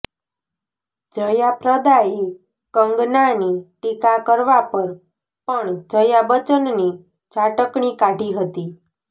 જયા પ્રદાએ કંગનાની ટીકા કરવા પર પણ જયા બચ્ચનની ઝાટકણી કાઢી હતી